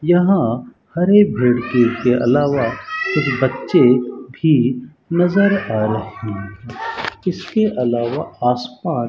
यहां हरे पेड़ के अलावा कुछ बच्चे भी नजर आ रहे हैं इसके अलावा आसपास --